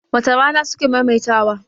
wace Rana suke maimaita wa?